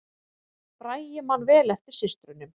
Bragi man vel eftir systrunum